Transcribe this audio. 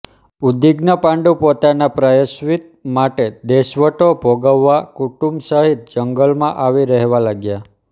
ઉદ્વીગ્ન પાંડુ પોતાના પ્રાયશ્ચિત માટે દેશવટો ભોગવવા કુટુંબ સહિત જંગલમાં આવી રહેવા લાગ્યા